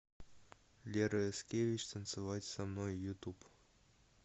лера яскевич танцевать со мной ютуб